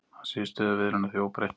Hann segir stöðu viðræðna því óbreytta